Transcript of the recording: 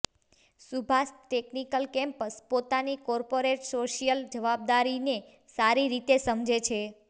Subhash technical campus પોતાની corporate social જવાબદારીને સારી રીતે સમજે છે